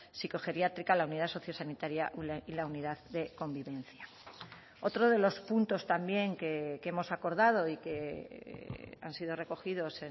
sicogeriátrica la unidad sociosanitaria y la unidad de convivencia otro de los puntos también que hemos acordado y que han sido recogidos